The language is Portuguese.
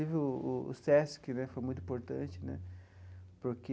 O o Sesc né foi muito importante né, porque...